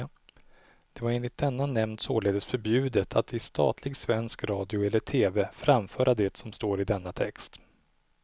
Det var enligt denna nämnd således förbjudet att i statlig svensk radio eller tv framföra det som står i denna text.